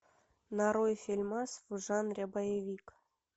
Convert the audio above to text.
нарой фильмас в жанре боевик